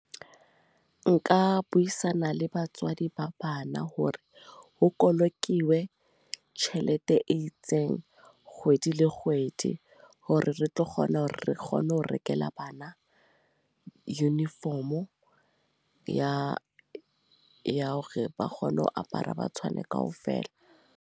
Nka buisana le batswadi ba bana, hore ho bolokilwe tjhelete e itseng kgwedi le kgwedi. Hore re tlo kgona hore re kgone ho rekela bana uniform o ya ya hore ba kgone ho apara ba tshwane kaofela.